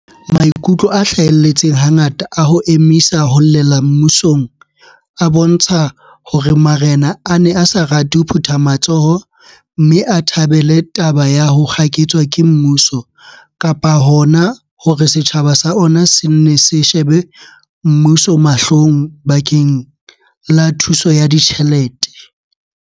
Maikutlo a hlahelletseng hangata a ho emisa ho llela mmusong a bontsha hore ma rena a ne a sa rate ho phutha matsoho mme a thabele taba ya ho kgaketswa ke mmuso kapa hona hore setjhaba sa ona se nne se shebe mmuso mahlong bakeng la thuso ya ditjhelete.